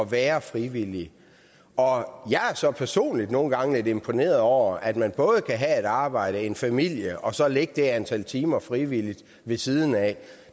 være frivillige og jeg er så personligt nogle gange lidt imponeret over at man både kan have et arbejde en familie og så lægge det der antal timer frivilligt ved siden af